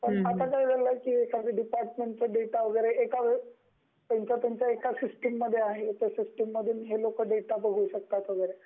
पण आता काय झाल आहे त्यांच्या डिपार्टमेंटचा डेटा त्यांच्या त्यांच्या एक सिस्टम मध्ये आहे, आणि हे लोक ह्या सिस्टिम मधून डेटा बघु शकतात वगरे